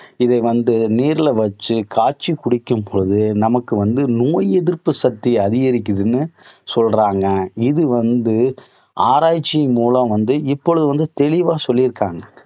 இதை வந்து நீரில வச்சு காய்ச்சி குடிக்கும் போது நமக்கு வந்து நோய் எதிர்ப்பு சக்தி அதிகரிக்குதுன்னு சொல்றாங்க. இது வந்து ஆராய்ச்சி மூலம் வந்து இப்பொழுது வந்து தெளிவா சொல்லி இருக்காங்க.